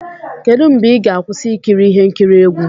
Kedu mgbe ị ga-akwụsị ikiri ihe nkiri egwu?